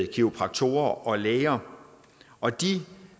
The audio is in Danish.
kiropraktorer og læger og de